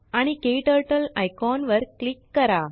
आणिKTurtleआयकॉन वर क्लीक करा